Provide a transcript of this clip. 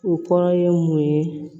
O kɔrɔ ye mun ye